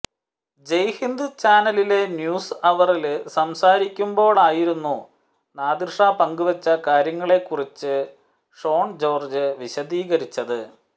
ജയ് ഹിന്ദ് ചാനലിലെ ന്യൂസ് അവറില് സംസാരിക്കുമ്പോഴായിരുന്നു നാദിര്ഷ പങ്കുവച്ച കാര്യങ്ങളെക്കുറിച്ച് ഷോണ് ജോര്ജ്ജ് വിശദീകരിച്ചത്